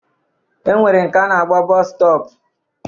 E nwere nke a na-akpọ bọọsu stọp